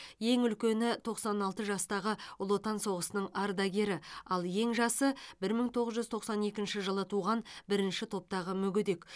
ең үлкені тоқсан алты жастағы ұлы отан соғысының ардагері ал ең жасы бір мың тоғыз жүз тоқсан екінші жылы туған бірінші топтағы мүгедек